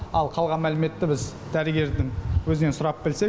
ал қалған мәліметті біз дәрігердің өзінен сұрап білсек